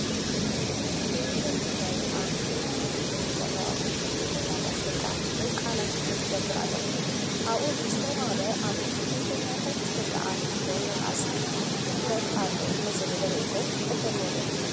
ቴለብዥን ትግራይ ኣብ ከይዲ ውድድር ንዘለዋ ብሽክሌተኛታት ደቂ ኣንስትዮ ቃለ መሕትት ይገብር ኣሎ፡፡ ኣብኡ ንዝተዋህበ ኣብ ብሽክሌታ ደቂ ኣንስትዮ ምንኣስ ትኹነት ኣሎ ንዝብል ርኢቶ ትቕበልዎ ዶ?